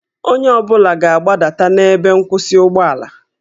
Onye ọ bụla ga-agbadata na ebe nkwụsị ụgbọala